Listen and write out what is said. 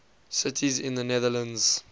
cities in the netherlands